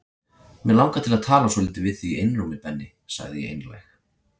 Mig langar til að tala svolítið við þig í einrúmi Benni sagði ég einlæg.